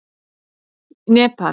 Nepal